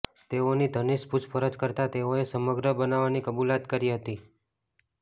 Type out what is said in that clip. તેઓની ઘનિષ્ઠ પૂછપરછ કરતા તેઓએ સમગ્ર બનાવની કબુલાત કરી હતી